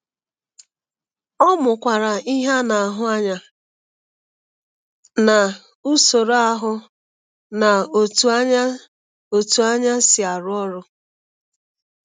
Ọ mụokwara ihe a na-ahụ anya na usoro ahụ na otu anya otu anya si arụ ọrụ.